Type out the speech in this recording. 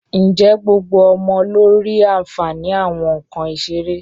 Ǹjẹ́ gbogbo ọmọ ló rí àǹfààní àwọn nǹkan ìṣeré?